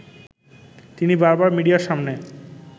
তিনি বারবার মিডিয়ার সামনে